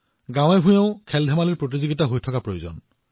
গাঁৱেগাঁৱে ক্ৰীড়া প্ৰতিযোগিতা অব্যাহত থাকিব লাগে